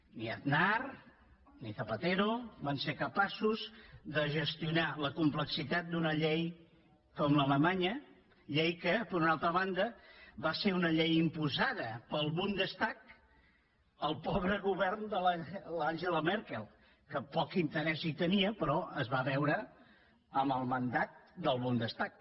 ni aznar ni zapatero van ser capaços de gestionar la complexitat d’una llei com l’alemanya llei que per una altra banda va ser una llei imposada pel bundestag al pobre govern de l’angela merkel que poc interès hi tenia però es va veure amb el mandat del bundestag